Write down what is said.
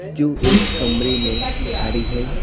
जो एक कमरे में खड़ी है।